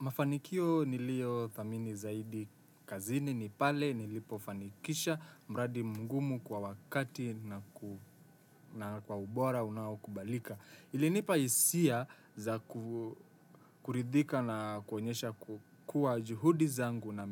Mafanikio niliothamini zaidi kazini ni pale nilipofanikisha mradi mngumu kwa wakati na kwa ubora unaokubalika. Ilinipa isia za kuridhika na kuonyesha ku kua juhudi zangu na